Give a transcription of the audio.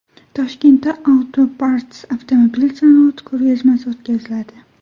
Toshkentda Auto&Parts avtomobil sanoati ko‘rgazmasi o‘tkaziladi.